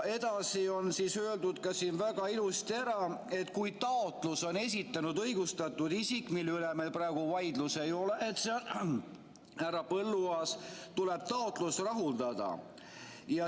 Edasi on öeldud siin väga ilusasti ära, et kui taotluse on esitanud õigustatud isik, mille üle meil praegu vaidlust ei ole, et see on härra Põlluaas, tuleb taotlus rahuldada.